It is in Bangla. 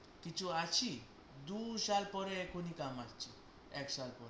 কিছু আছি দু সাল পরে এখনই কামাচ্ছি এক সাথে